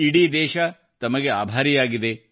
ಇಡೀ ದೇಶ ತಮಗೆ ಆಭಾರಿಯಾಗಿದೆ